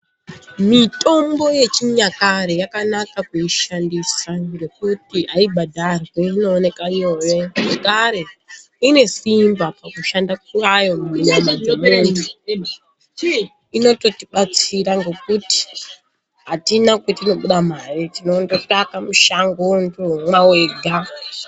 Mitombo yechinyakare yakanaka kuishandisa, ngekuti haibhadharwi inooneka nyore, zvakare inesimba mukushanda kwayo munyama dzemuntu, inototibatsira ngekuti atina kwetinobuda mare, tinondotsvake mushango wondomwa wega.